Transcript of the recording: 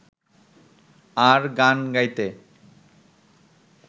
আর গান গাইতে